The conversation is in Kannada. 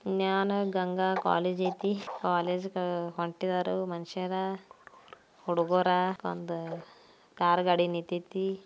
ನ್ಯಾನ ಗಂಗಾ ಕಾಲೇಜ್ ಅಯ್ತಿ ಕಾಲೇಜ್ಗೆ ಹೊಂಟಿದಾರು ಮನುಷ್ಯದ ಹುಡ್ಗುರ ಒಂದು ಕಾರ್ಗಡಿ ನಿಂತಿತೇ.